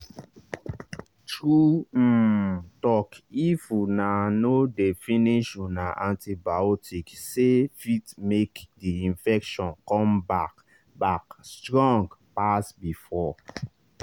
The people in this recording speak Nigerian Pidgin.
true um talkif una no dey finish una antibioticse fit make the infection come back back strong pass before